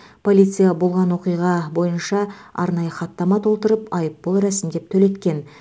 полиция болған оқиға бойынша арнайы хаттама толтырып айыппұл рәсімдеп төлеткен